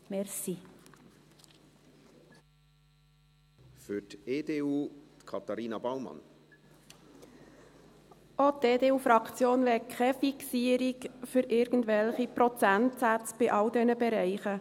Auch die EDU-Fraktion möchte keine Fixierung auf irgendwelche Prozentsätze bei all diesen Bereichen.